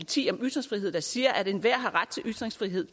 ti om ytringsfrihed der siger at enhver har ret til ytringsfrihed